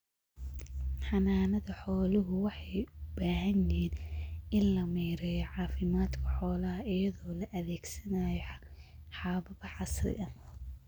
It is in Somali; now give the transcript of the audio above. Xanaanada xooluhu waxay u baahan yihiin in la maareeyo caafimaadka xoolaha iyadoo la adeegsanayo habab casri ah.